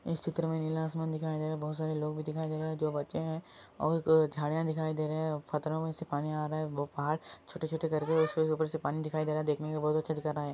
इस चित्र मै नीला आसमान दिखाई दे रहे है बोहोत सारे लोग भी दिखाई दे रहे है जो बच्चे है और झाडिया दिखाई दे रहे है खतरों मै से पानी आ रहा है वो पहाड़ छोटे-छोटे करके ऊपर से पानी दिखाई दे रहा है देखने मै बोहोत अच्छा दिखा रहा है।